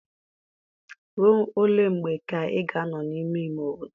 Rụọ ole mgbe ka ị ga-anọ n'ime ime obodo?